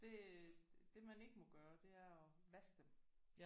Det det man ikke må gøre det er at vaske dem